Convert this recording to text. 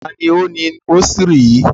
Ta ni ó ni rósírì yìí?